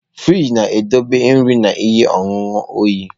Frịjị na-edobe nri na ihe ọṅụṅụ oyi.